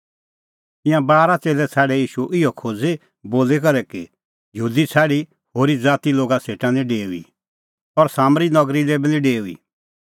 ईंयां बारा च़ेल्लै छ़ाडै ईशू इहअ खोज़ी बोली करै कि यहूदी छ़ाडी होरी ज़ातीए लोगा सेटा निं डेऊई और सामरी नगरी लै बी निं डेऊई